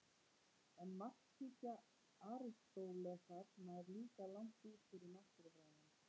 En markhyggja Aristótelesar nær líka langt út fyrir náttúrufræði hans.